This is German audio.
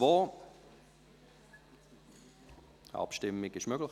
Die Abstimmung ist nun möglich.